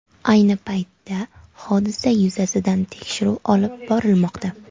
Ayni paytda hodisa yuzasidan tekshiruv olib borilmoqda.